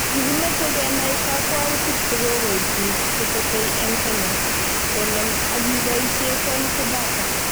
Kikimeche kenai kakwautik chekikoib biik che tetei eng Kenya konem akiboisie quality data